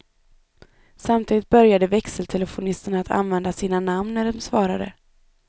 Samtidigt började växeltelefonisterna att använda sina namn när de svarade.